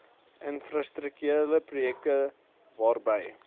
infrastrukturele projekte waarby